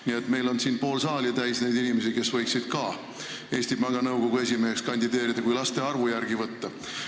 Nii et meil on pool saali täis neid inimesi, kes võiksid ka Eesti Panga Nõukogu esimeheks kandideerida, kui laste arvu järgi võtta.